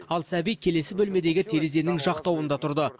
ал сәби келесі бөлмедегі терезенің жақтауында тұрды